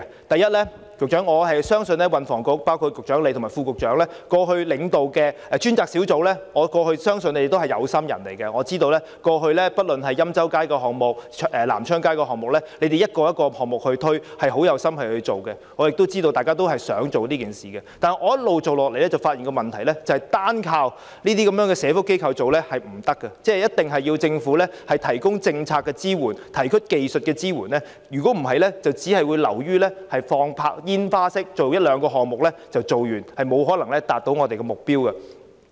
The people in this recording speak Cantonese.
第一，我相信運輸及房屋局領導的專責小組——包括局長及副局長——也是有心人，過去不論是欽州街或南昌街的項目，你們逐個項目推展，十分有心，大家均想達成這件事，但在過程中，我發現單靠這些社福機構負責是不行的，一定要政府提供政策及技術支援，否則只會像發放煙花般，完成一兩個項目便完事，無法達致我們的目標。